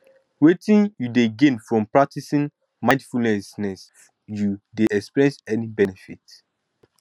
wetin you dey gain from practicing mindfulness you dey experience any benefits